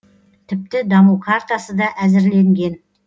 тіпті даму картасы да әзірленген